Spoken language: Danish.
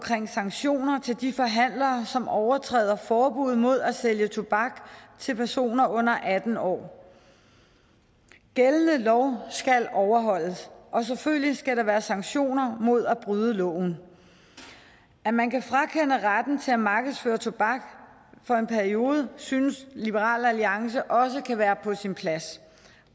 sanktioner til de forhandlere som overtræder forbuddet mod at sælge tobak til personer under atten år gældende lov skal overholdes og selvfølgelig skal der være sanktioner mod at bryde loven at man kan frakende nogle retten til at markedsføre tobak for en periode synes liberal alliance også kan være på sin plads